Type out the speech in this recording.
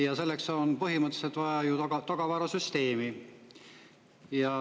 Ja selleks on põhimõtteliselt vaja ju tagavarasüsteemi.